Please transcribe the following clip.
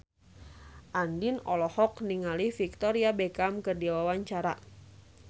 Andien olohok ningali Victoria Beckham keur diwawancara